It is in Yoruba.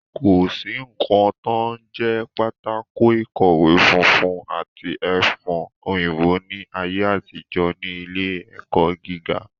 Kò sí ǹǹkan tó ń jẹ́ pátákó ìkọ̀wẹ́ funfun àti ẹfun òyìnbó ní ayé àtijọ́ ní ilé ẹ̀kọ́ gíga